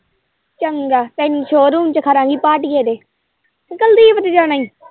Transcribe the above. ਚੰਗਾ ਤੈਨੂੰ showroom ਚ ਖੜਾ ਗੀ ਭਾਟੀਏ ਦੇ ਕੀ ਕੁਲਦੀਪ ਦੇ ਜਾਣਾ ਏ।